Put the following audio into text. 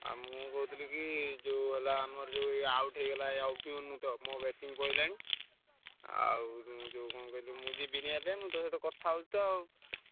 ଆଉ ମୁଁ କହୁଥିଲି କି ଯୋଉ ହେଲା ଆମର ଯୋଉ ଏ out ହେଇଗଲା ଅଭିମନ୍ୟୁ ତ ମୋ batting ପଡିଲାଣି ଆଉ ଯୋଉ କଣ କହିଲୁ ମୁଁ ତ ଯିବିନି ଏବେ ତୋ ସହ କଥା ହଉଛି ତ ଆଉ।